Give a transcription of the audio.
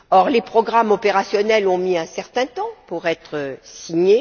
Les programmes opérationnels ont mis un certain temps à être signés.